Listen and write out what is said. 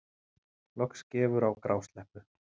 Loks gefur á grásleppu